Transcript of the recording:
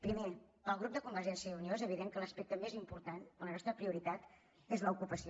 primer pel grup de convergència i unió és evident que l’aspecte més important o la nostra prioritat és l’ocupació